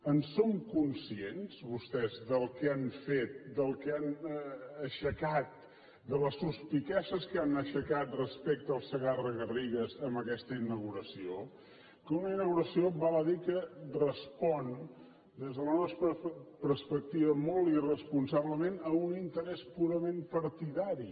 en són conscients vostès del que han fet del que han aixecat de les suspicàcies que han aixecat respecte al segarra garrigues amb aquesta inauguració una inauguració val a dir que respon des de la nostra perspectiva molt irresponsablement a un interès purament partidari